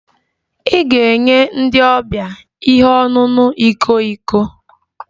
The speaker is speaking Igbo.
I ga-enye ndi ọbia ihe ọṅụṅụ iko iko